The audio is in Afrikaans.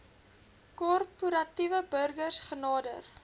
korporatiewe burgers genader